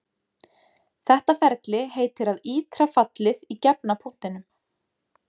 Þetta ferli heitir að ítra fallið í gefna punktinum.